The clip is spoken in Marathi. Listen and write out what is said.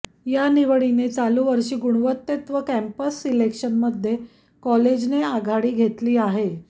या निवडीने चालू वर्षी गुणवत्तेत व पॅम्पस सिलेक्शनमध्ये कॉलेजने आघाडी घेतली आहे